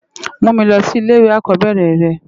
Mú mi lòsi ilé iwé àkòbèrè rè